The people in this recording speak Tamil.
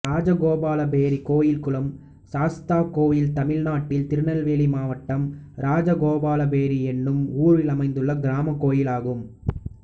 இராஜகோபாலபேரி கோயில்குளம் சாஸ்தா கோயில் தமிழ்நாட்டில் திருநெல்வேலி மாவட்டம் இராஜகோபாலபேரி என்னும் ஊரில் அமைந்துள்ள கிராமக் கோயிலாகும்